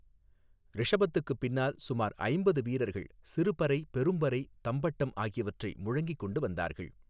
ரிஷபத்துக்குப் பின்னால் சுமார் ஐம்பது வீரர்கள் சிறுபறை பெரும்பறை தம்பட்டம் ஆகியவற்றை முழங்கிக் கொண்டு வந்தார்கள்.